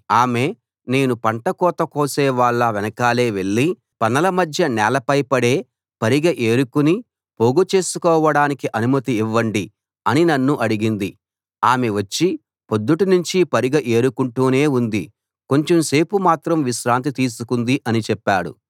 ఆమె నేను పంట కోత కోసే వాళ్ళ వెనకాలే వెళ్ళి పనల మధ్య నేలపై పడే పరిగె ఏరుకుని పోగు చేసుకోవడానికి అనుమతి నివ్వండి అని నన్ను అడిగింది ఆమె వచ్చి పొద్దుటినుంచి పరిగె ఏరుకుంటూనే ఉంది కొంచెం సేపు మాత్రం విశ్రాంతి తీసుకుంది అని చెప్పాడు